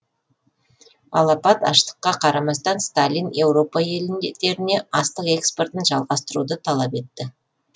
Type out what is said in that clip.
алапат аштыққа қарамастан сталин еуропа елдеріне астық экспортын жалғастыруды талап етті